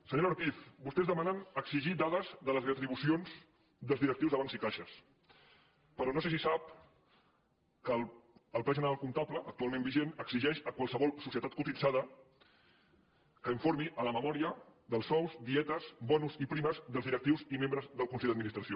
senyora ortiz vostès demanen exigir dades de les re·tribucions dels directius de bancs i caixes però no sé si sap que el pla general comptable actualment vi·gent exigeix a qualsevol societat cotitzada que in·formi en la memòria dels sous dietes bons i primes dels directius i membres del consell d’administració